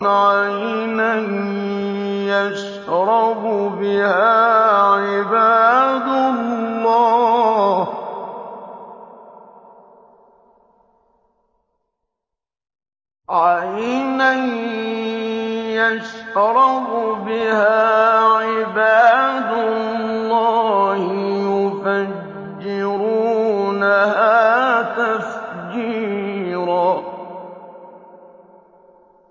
عَيْنًا يَشْرَبُ بِهَا عِبَادُ اللَّهِ يُفَجِّرُونَهَا تَفْجِيرًا